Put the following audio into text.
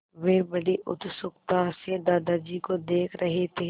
वे बड़ी उत्सुकता से दादाजी को देख रहे थे